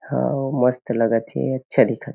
है अउ मस्त लगत हे अच्छा दिखत हे।